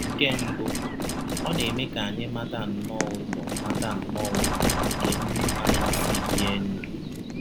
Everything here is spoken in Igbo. Nke mbụ, ọ na - eme ka anyị mata nnọọ ụzọ mata nnọọ ụzọ ka mma isi bie ndụ.